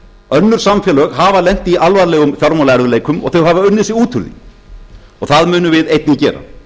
önnur samfélög hafa lent í alvarlegum fjármálaerfiðleikum og þau hafa unnið sig út úr því og það munum við einnig gera